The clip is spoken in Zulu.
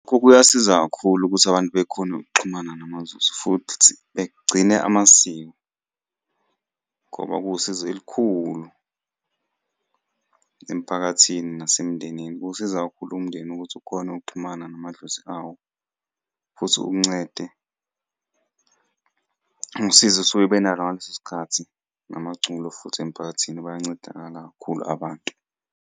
Kuyasiza kakhulu ukuthi abantu bekhone ukuxhumana namaZulu futhi begcine amasiko, ngoba kuwusizo elikhulu emphakathini nasemndenini. Kuwusiza kakhulu umndeni ukuthi ukhone ukuxhumana namadlozi awo futhi uncede, ungisizo esuke benalo ngaleso sikhathi namaculo futhi emphakathini bayancedakala kakhulu abantu.